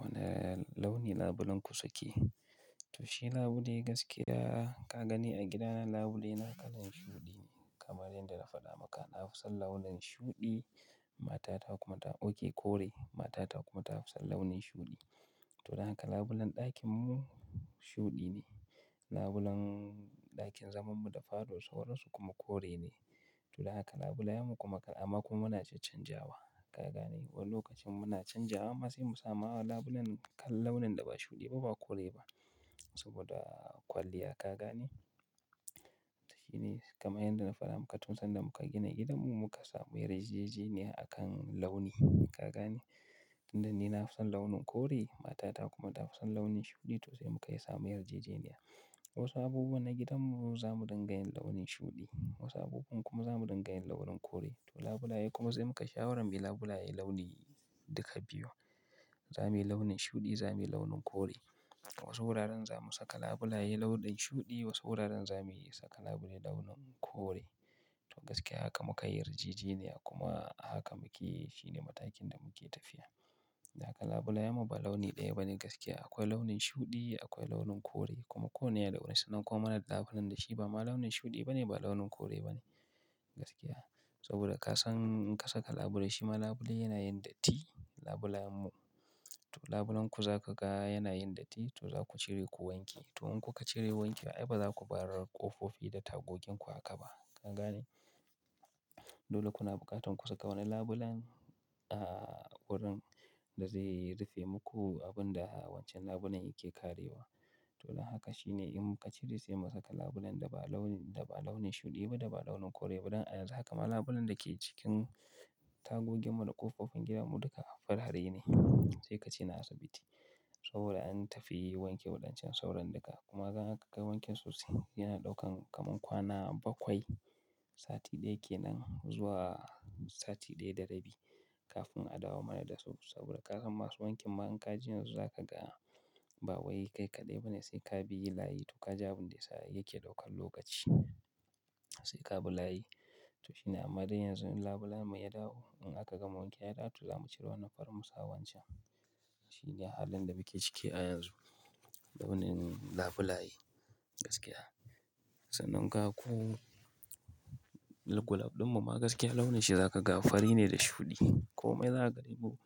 Wane launi labulenku suke? To shi labule gaskiya ka gani a gidana, labulena kalan shuɗi ne. Kamar yadda na faɗa maka, na fi son launin shuɗi, matata kuma ta ɗauke kore, matata kuma ta fi son launin shuɗi. To don haka labulen ɗakinmu shuɗi ne. Labulen ɗakin zamanmu da fado sauransu kuma kore ne. To don haka labulayenmu kuma kala, amma kuma muna caccan jawa, ka gane? Wani lokacin muna canjawa amma sai mu samu labulen kala launin da ba shuɗi ba, ba kore ba. Saboda kwalliya, ka gane? To shi ne. Kamar yadda na faɗa maka, tun sanda muka gina gidanmu muka samu yarjejeniya akan launi, ka gane? Inda ni na fi son launin kore, matata kuma ta fi son launin shuɗi, to sai mu kai sa yarjejeniya. Wasu abubuwa na gidanmu za mu dinga yin launin shuɗi, wasu abubuwan kuma za mu dinga yin launin kore. To labulaye kuma sai mukai shawaran muyi labulaye launi duka biyu. Za muyi launin shuɗi, za muyi launin kore. Wasu wuraren za mu saka labulaye launin shuɗi, wasu wuraren za mu iya saka labule launin kore. To gaskiya haka muka yi yarjejeniya kuma haka muke yi, shi ne matakin da muke tafiya. Duka labulayen mu ba launi ɗaya bane gaskiya. Akwai launin shuɗi, akwai launin kore kuma ko wane launi sanan kuwa marar labulen da shi ba ma launin shuɗi bane, ba launin kore bane gaskiya. Saboda ka san in ka saka labule, shima labule yana yin datti, labulayenmu. To labulenku za ka ga yana yin datti, to za ku cire ku wanke. To in kuka cire wanki, ai ba za ku bar ƙofofi da tagoginku haka ba, ka gane? Dole kuna buƙatar ku saka wani labulen, ah, wurin da zai rufe muku abun da wancan labulen yake karewa. To don haka shi ne in mu ka cire, sai mu saka labulen da ba launin, da ba launin shuɗi ba, da ba launin kore ba. Dan a yanzu haka ma labulen da ke cikin tagogin mu da ƙofofin gidanmu duka farare ne. Sai ka ce na asibiti. Saboda an tafi wanke waɗancan sauran duka. Kuma ga in aka kai wankin sosai, yana ɗaukan kamar kwana bakwai, sati ɗaya ke nan zuwa sati ɗaya da rabi kafin a dawo mana da su. Saboda ka san masu wankin ma in ka ji yanzu za ka ga ba wai kai kaɗai ba ne sai ka biy layi to ka ji abin da ya sa yake ɗaukan lokaci. Sai ka bi layi. To shi ne. Amma dai yanzu in labulayenmu ya dawo, in aka gama wankewa ya dawo, to za mu cire wannan farin mu sa wancan. Shi ne halin da muke ciki a yanzu. Launin labulaye gaskiya. Sannan kaga ko, gulab ɗin mu ma gaskiya launin shi za ka ga fari ne da shuɗi. Komai za ka ga dumu.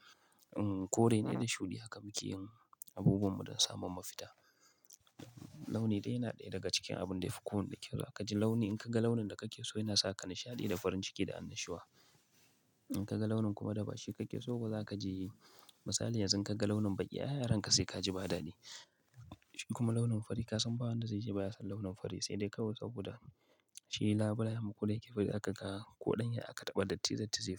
In kore ne da shuɗi haka muke yin abubuwanmu don samun mafita. Launi ɗaya yana ɗaya daga cikin abun da fi kowane kyau ka ji launi. In ka ga launin da kake so yana saka nishaɗi da farin ciki da annashuwa. In ka ga launin kuma da ba shi kake so ba za ka ji yi. Misali yanzu ka ga launin baƙi, "Ay har a ranka sai ka ji ba dadi." Kuma launin fari ka san ba wanda zai ce ba ya son launin fari sai dai kawai saboda shi labulayenmu kuda yake fari, za ka ga koɗan ya aka taɓa datti zai yi.